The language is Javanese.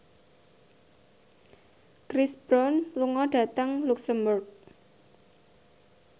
Chris Brown lunga dhateng luxemburg